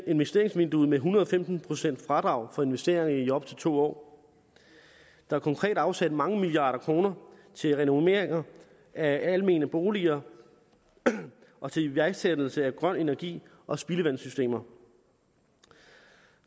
investeringsvinduet med en hundrede og femten procent fradrag for investeringer i op til to år der er konkret afsat mange milliarder kroner til renovering af almene boliger og til iværksættelse af grøn energi og spildevandssystemer